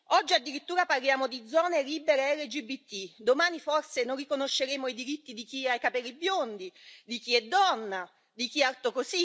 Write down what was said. Oggi, addirittura, parliamo di zone libere LGBTI, domani forse non riconosceremo i diritti di chi ha i capelli biondi, di chi è donna, di chi alto